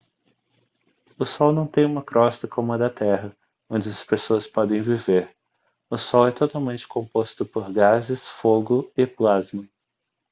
o sol não tem uma crosta como a da terra onde as pessoas podem viver o sol é totalmente composto por gases fogo e plasma